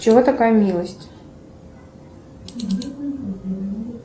чего такая милость